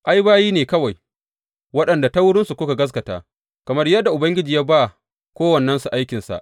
Ai, bayi ne kawai waɗanda ta wurinsu kuka gaskata, kamar yadda Ubangiji ya ba kowannensu aikinsa.